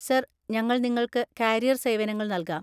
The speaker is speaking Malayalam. സർ, ഞങ്ങൾ നിങ്ങൾക്ക് കാരിയർ സേവനങ്ങൾ നൽകാം.